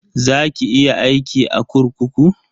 Za ki iya aiki a kurkuku?